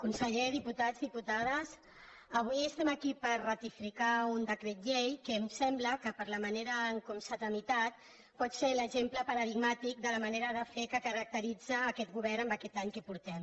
consellers diputats diputades avui estem aquí per ratificar un decret llei que em sembla que per la manera com s’ha tramitat pot ser l’exemple paradigmàtic de la manera de fer que caracteritza a aquest govern en aquest any que portem